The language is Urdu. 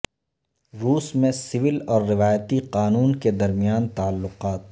روس میں سول اور روایتی قانون کے درمیان تعلقات